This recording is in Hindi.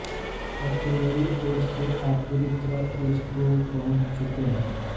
अब तो मेरी ओर से आप पूरी तरह उज़ को पहुँच चुके है